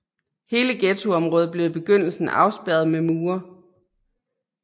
Hele ghettoområdet blev i begyndelsen afspærret med mure